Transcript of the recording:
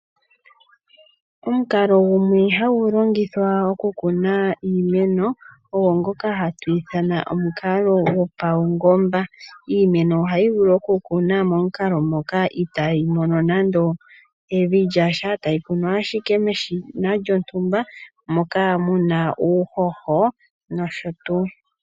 Omukalo gumwe hagu longithwa oku kuna iimeno ogo ngoka hatu ithana omukalo gopaungomba iimeno ohayi vulu oku kunwa momukalo ngoka itayi mono nande evi lyasha tayi kunwa ashike meshina lontumba moka muna uuhoho nosho tuu.